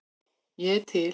Ég er til